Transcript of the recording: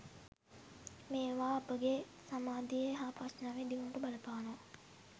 මේවා අපගේ සමාධියේ හා ප්‍රඥාවේ දියුණුවට බලපානවා.